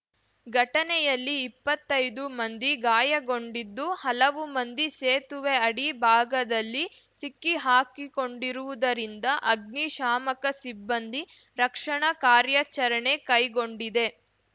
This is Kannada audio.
ಘಟನೆಯಲ್ಲಿ ಇಪ್ಪತ್ತೈದು ಮಂದಿ ಗಾಯಗೊಂಡಿದ್ದು ಹಲವು ಮಂದಿ ಸೇತುವೆ ಅಡಿ ಭಾಗದಲ್ಲಿ ಸಿಕ್ಕಿಹಾಕಿಕೊಂಡಿರುವುದರಿಂದ ಅಗ್ನಿ ಶಾಮಕ ಸಿಬ್ಬಂದಿ ರಕ್ಷಣಾ ಕಾರ್ಯಾಚರಣೆ ಕೈಗೊಂಡಿದೆ